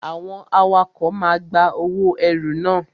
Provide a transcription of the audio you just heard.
Àwọn awakọ̀ máa ń gba owó ẹrù na.